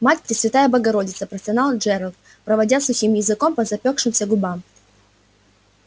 мать пресвятая богородица простонал джералд проводя сухим языком по запёкшимся губам